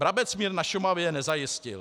"Brabec mír na Šumavě nezajistil.